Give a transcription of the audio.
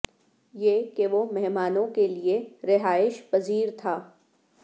یہ کہ وہ مہمانوں کے لئے رہائش پذیر تھا